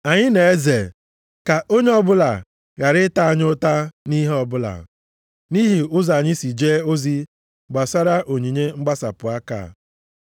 Anyị na-eze ka onye ọbụla ghara ịta anyị ụta nʼihe ọbụla, nʼihi ụzọ anyị si jee ozi gbasara onyinye mgbasapụ aka a.